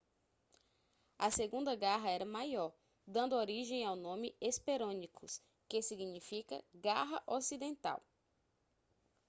a segunda garra era maior dando origem ao nome hesperonychus que significa garra ocidental